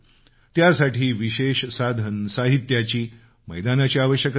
त्यासाठी विशेष साधनसाहित्याची मैदानाची आवश्यकता नाही